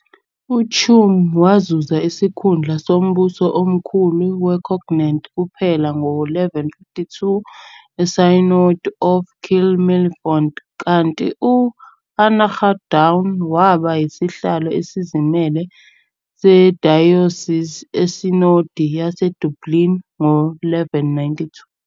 UTuam wazuza isikhundla sombuso omkhulu weConnacht kuphela ngo-1152 eSynod of Kells-Mellifont, kanti u- Annaghdown waba yisihlalo esizimele sedayosisi eSinodi yaseDublin ngo-1192.